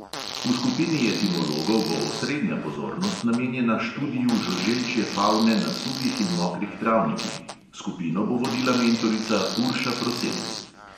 V skupini etimologov bo osrednja pozornost namenjena študiju žuželčje favne na suhih in mokrih travnikih, skupino bo vodila mentorica urša prosenc.